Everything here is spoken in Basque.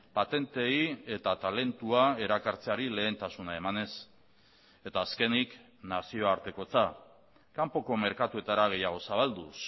patenteei eta talentua erakartzeari lehentasuna emanez eta azkenik nazioartekotza kanpoko merkatuetara gehiagoz zabalduz